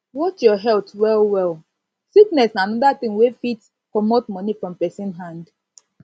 watch your health well well sickness na anoda na anoda thing wey fit comot money from person hand